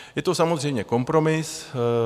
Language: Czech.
Je to samozřejmě kompromis.